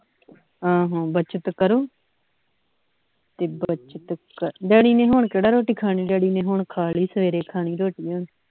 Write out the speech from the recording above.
ਹੂੰ ਹੂੰ ਬੱਚਤ ਕਰੋ ਤੇ ਬੱਚਤ daddy ਨੇ ਹੁਣ ਕਿਹੜਾ ਰੋਟੀ ਖਾਣੀ daddy ਨੇ ਹੁਣ ਖਾ ਲਈ ਸਵੇਰੇ ਖਾਣੀ ਰੋਟੀ ਹੁਣ